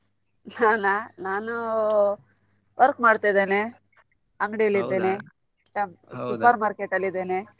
ನಾನಾ ನಾನು work ಮಾಡ್ತಿದ್ದೇನೆ ಅಂಗಡಿಯಲ್ಲಿ ಇದ್ದೇನೆ super market ಅಲ್ಲಿ ಇದ್ದೇನೆ.